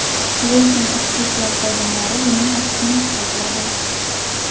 Lekin ichki ishlar xodimlari buning aksini isbotladi.